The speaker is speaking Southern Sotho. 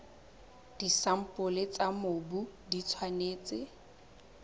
disampole tsa mobu di tshwanetse